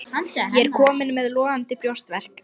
Ég er kominn með logandi brjóstverk.